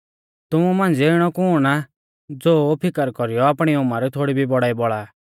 तुमु मांझ़िऐ इणौ कुण आ ज़ो फिकर कौरीयौ आपणी उमर थोड़ी भी बड़ाई बौल़ा आ